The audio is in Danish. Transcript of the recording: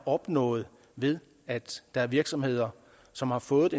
opnået ved at der er virksomheder som har fået